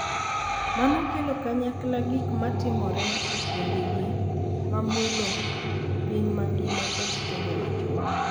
Mano kelo kanyakla gik ma timore e kindegi, ma mulo piny mangima kod timbe machon.